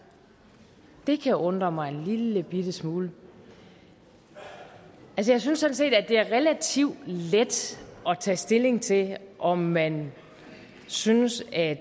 det kan undre mig en lillebitte smule jeg synes sådan set at det er relativt let at tage stilling til om man synes at